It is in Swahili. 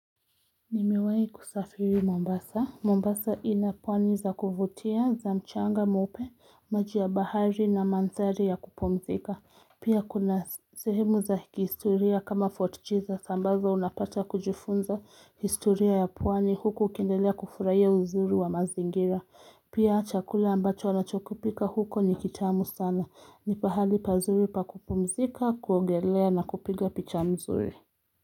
Nimiwahi kusafiri Mombasa. Mombasa inapwani za kufutia za mchanga mweupe, maji ya bahari na mandhari ya kupumzika. Pia kuna sehemu za kihistoria kama fort Jesus ambazo unapata kujufunza historia ya pwani huko ukiendelea kufurahia uzuri wa mazingira. Pia chakula ambacho wanachokupika huko ni kitamu sana. Ni pahali pazuri pa kupumzika, kuogelea na kupiga picha nzuri.